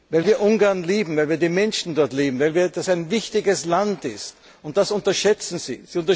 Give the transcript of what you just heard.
Weil wir Ungarn lieben, weil wir die Menschen dort lieben, weil das ein wichtiges Land ist. Das unterschätzen